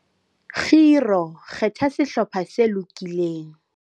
Kgiro - kgetha sehlopha se lokileng